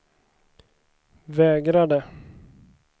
vägrade